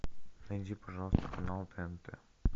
найди пожалуйста канал тнт